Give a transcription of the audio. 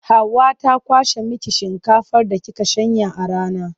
Hauwa ta kwashe miki shinkafar da kika shanya a rana.